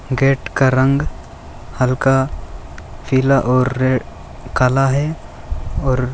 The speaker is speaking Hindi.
गेट का रंग हल्का पीला और रे काला है और --